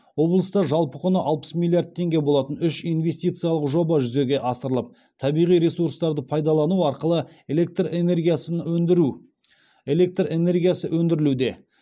облыста жалпы құны алпыс миллиард теңге болатын үш инвестициялық жоба жүзеге асырылып табиғи ресурстарды пайдалану арқылы электр энергиясын өндіру электр энергиясы өндірілуде